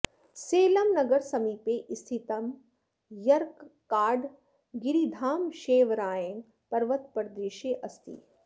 सेलं नगरसमीपे स्थितं यर्काड् गिरिधाम षेवरायन् पर्वतप्रदेशे अस्ति